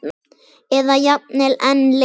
Eða jafnvel enn lengur.